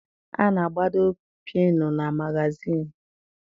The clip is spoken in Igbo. A na-agbado piinu na magazịịnụ.